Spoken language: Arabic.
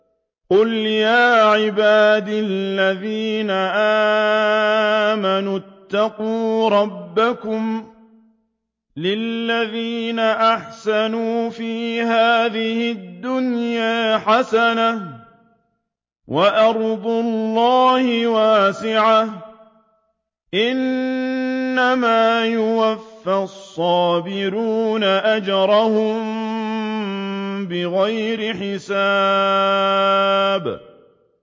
قُلْ يَا عِبَادِ الَّذِينَ آمَنُوا اتَّقُوا رَبَّكُمْ ۚ لِلَّذِينَ أَحْسَنُوا فِي هَٰذِهِ الدُّنْيَا حَسَنَةٌ ۗ وَأَرْضُ اللَّهِ وَاسِعَةٌ ۗ إِنَّمَا يُوَفَّى الصَّابِرُونَ أَجْرَهُم بِغَيْرِ حِسَابٍ